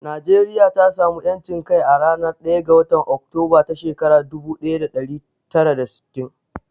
Najeriya ta samu ƴancin kai a ranar ɗaya ga watan Oktober ta shekarar dubu ɗaya da ɗari tara da sittin.